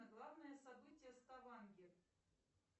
главное событие ставангер